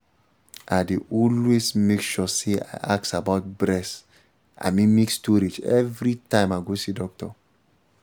i dey always make sure say i ask about breast i mean milk storage every time i go see doctor